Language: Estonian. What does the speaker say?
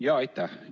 Jaa, aitäh!